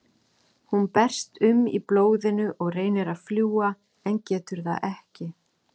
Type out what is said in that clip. Sem skynsemisvera á maðurinn tilkall til ákveðinna réttinda sem samtímis fela í sér vissar skyldur.